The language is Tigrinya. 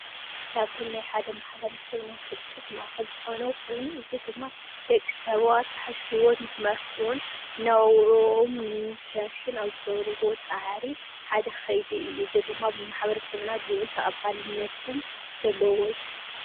ካብቶም ናይ ሓደ ማሕበረሰብ ናይ ፍልጠት ማእከል ዝኮኑ ኮይኑ እዚ ድማ ደቂ ሰባት ዝሓሸ ሂወት ንክመርሑ እውን መነባብርኦም ንምምሕያሽን ኣብ ዝገብርዎ ፃዕሪ ሓደ ከይዲ እዩ፡፡ እዚ ድማ ብማሕበረሰብና ኣዝዩ ልዑል ተቀባልነት ዘለዎ እዩ፡፡